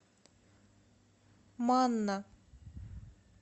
манна